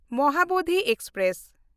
Mahabodhi express